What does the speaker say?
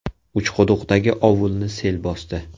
Uchquduqdagi ovulni sel bosdi.